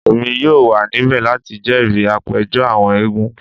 Emi yoo wa nibẹ lati jẹri apejọ awọn eégún